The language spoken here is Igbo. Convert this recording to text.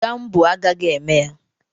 Gambo agaghị eme ya